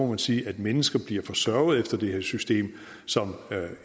man sige at mennesker bliver forsørget efter det her system som